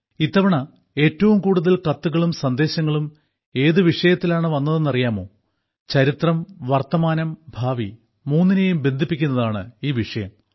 ഇത്തവണ ഏറ്റവും കൂടുതൽ കത്തുകളും സന്ദേശങ്ങളും ഏതു വിഷയത്തിലാണ് വന്നതെന്നറിയാമോ ചരിത്രം വർത്തമാനം ഭാവി മൂന്നിനേയും ബന്ധിപ്പിക്കുന്നതാണ് ഈ വിഷയം